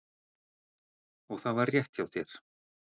Og það var rétt hjá þér.